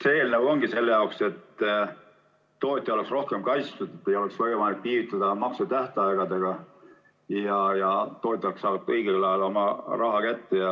See eelnõu ongi selle jaoks, et tootja oleks rohkem kaitstud, et ei oleks võimalik viivitada maksmise tähtaegadega ja tootjad saaksid õigel ajal oma raha kätte.